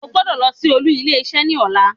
O gbodọ̀ lọ sí olú ilé isé ni ọ̀la